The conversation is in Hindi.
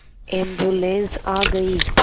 एम्बुलेन्स आ गई